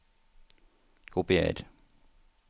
Kopier